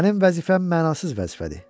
Mənim vəzifəm mənasız vəzifədir.